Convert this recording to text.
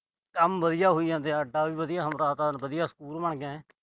ਕੰਮ ਵਧੀਆ ਹੋਈ ਜਾਂਦੇ ਆ। ਆਟਾ ਵੀ ਵਧੀਆ, ਹੁਣ ਸਕੂਲ ਬਣ ਗਿਆ ਆ।